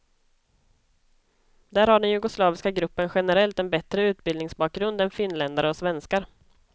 Där har den jugoslaviska gruppen generellt en bättre utbildningsbakgrund än finländare och svenskar.